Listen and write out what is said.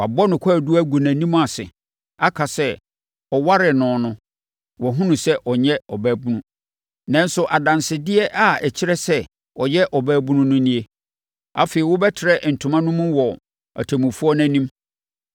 Wabɔ no kwaadu agu nʼanim ase aka sɛ, ɔwaree no no wahunu sɛ ɔnyɛ ɔbaabunu. Nanso adansedeɛ a ɛkyerɛ sɛ ɔyɛ ɔbaabunu no nie.” Afei, wɔbɛtrɛ ntoma no mu wɔ atemmufoɔ no anim.